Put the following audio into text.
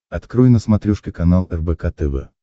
открой на смотрешке канал рбк тв